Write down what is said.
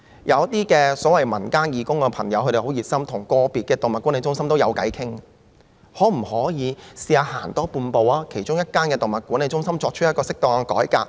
有一些所謂民間義工的朋友很熱心，他們跟個別動物管理中心也談得來，那麼可否嘗試多走半步，在其中一間動物管理中心作出適當的改革？